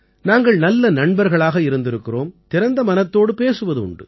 நாங்கள் நல்ல நண்பர்களாக இருந்திருக்கிறோம் திறந்த மனத்தோடு பேசுவது உண்டு